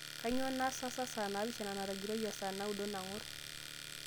kainyoo naasa saa naapishana natigiroyie o saa naudo nang'or